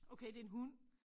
Okay det en hund